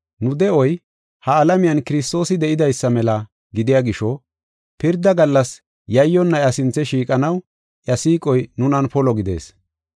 Nu de7oy ha alamiyan Kiristoosi de7idaysa mela gidiya gisho, pirda gallas yayyonna iya sinthe shiiqanaw iya siiqoy nunan polo gidees.